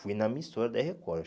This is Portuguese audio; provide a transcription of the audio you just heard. Fui na emissora da Record.